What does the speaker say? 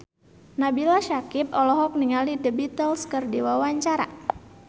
Nabila Syakieb olohok ningali The Beatles keur diwawancara